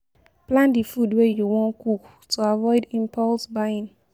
Plan di food wey you wan cook to avoid impulse buying